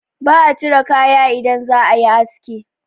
ba a cire kaya idan za a yi aski